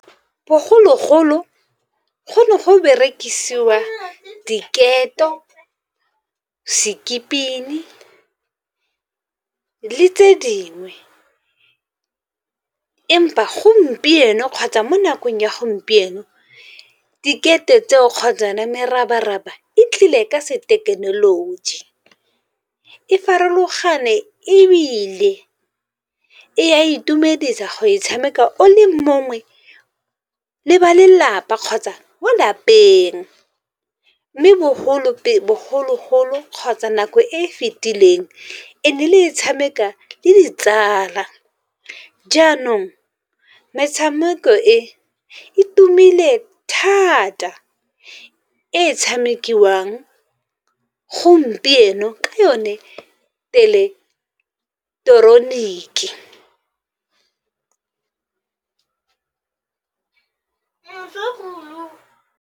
Bogologolo go ne go berekisiwa diketo, skipping le tse dingwe. Empa gompieno kgotsa mo nakong ya gompieno, diketo tseo kgotsa yona merabaraba e tlile ka sethekenoloji. E farologane ebile e a itumedisa go e tshameka o le mongwe le ba lelapa, kgotsa mo lapeng. Mme bogologolo kgotsa nako e e fetileng e ne le e tshameka le ditsala, jaanong metshameko e e tumile thata e e tshamekiwang gompieno ke yone .